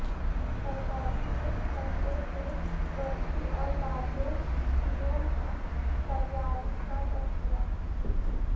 ترکاری کے کچرے سے برقی اور بائیو فیول کی تیاری کا تذکرہ